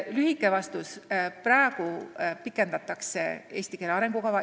Lühike vastus teile aga on: praegu pikendatakse eesti keele arengukava.